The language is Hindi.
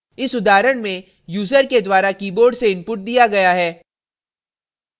इस उदाहरण में यूज़र के द्वारा keyboard से input दिया गया है